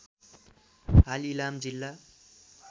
हाल इलाम जिल्ला